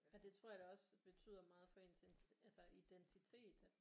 Og det tror jeg da også betyder meget for ens altså identitet at